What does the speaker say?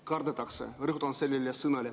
Kardetakse – rõhutan seda sõna.